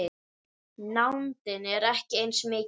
Nándin er ekki eins mikil.